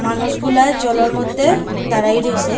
মানুষগুলা জলের মধ্যে দাঁড়ায় রইসে।